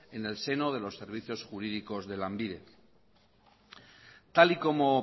en el seno de los servicios jurídicos de lanbide tal y como